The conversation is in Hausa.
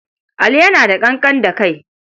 Ali yana da ƙanƙan da kai.